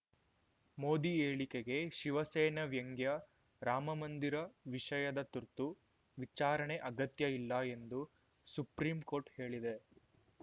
ಮೋದಿ ಹೇಳಿಕೆಗೆ ಶಿವಸೇನೆ ವ್ಯಂಗ್ಯ ರಾಮಮಂದಿರ ವಿಷಯದ ತುರ್ತು ವಿಚಾರಣೆ ಅಗತ್ಯ ಇಲ್ಲ ಎಂದು ಸುಪ್ರೀಂ ಕೋರ್ಟ್‌ ಹೇಳಿದೆ